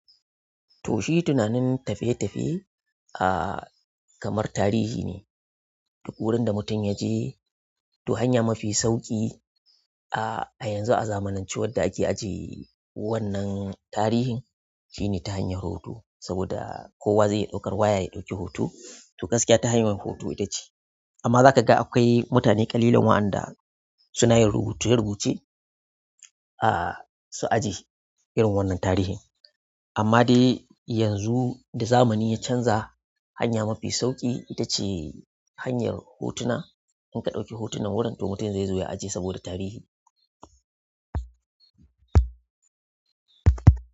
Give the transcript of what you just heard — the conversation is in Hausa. To shi tunanin tafiye tafiye kamar tarihi ne. Duk wurin da mutum ya je, to hanya mafi sauƙi a yanzu a zamanance wadda ake ajiye wannan tarihin shine ta hanyar hoto. Saboda kowa zai iya ɗaukar waya ya ɗauki hoto. To gaskiya ta hanyar hoto ita ce. Amma zaka ga akwai mutane ƙalilan waɗanda suna yin rubuce rubuce su ajiye irin wannan tarihin. Amma dai yanzu da zamani ya canza, hanya mafi sauƙi ita ce hanyar hotuna. In ka ɗauki hotunan gurin to mutum zezo ya ajiye saboda tarihi.